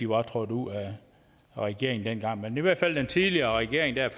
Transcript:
var trådt ud af regeringen dengang men i hvert fald den tidligere regering der